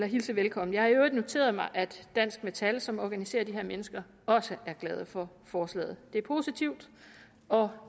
hilse velkommen jeg har i øvrigt noteret mig at dansk metal som organiserer de her mennesker også er glade for forslaget det er positivt og